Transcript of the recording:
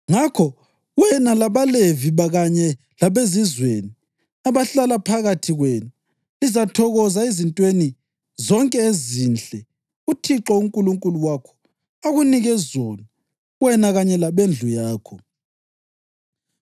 Ngakho wena labaLevi kanye labezizweni abahlala phakathi kwenu lizathokoza ezintweni zonke ezinhle uThixo uNkulunkulu wakho akunike zona wena kanye labendlu yakho.